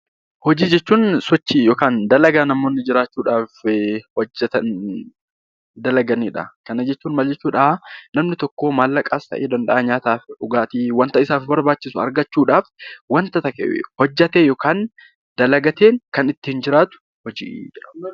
Hojii jechuun sochii yookaan dalagaa namni jiraachuu dhaaf hojjetan, dalagani dha. Kana jechuun maal jechuu dha? Namni tokko maallaqas ta'e, danda'aa nyaataaf dhugaatii wanta isaaf barbaachisu argachuu dhaaf, wanta hojjeteeen yookaan dalagateen kan ittiin jiraatu hojii jedhama.